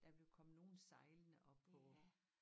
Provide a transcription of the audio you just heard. Der ville komme nogen sejlende oppe på